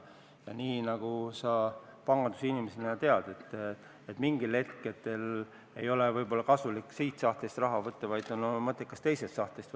Ja nii nagu sa pangandusinimesena tead, siis mingitel hetkedel ei ole võib-olla kasulik siit sahtlist raha võtta, vaid on mõttekas võtta see raha teisest sahtlist.